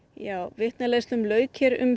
vitnaleiðslum lauk um